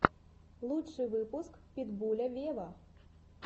лучший выпуск питбуля вево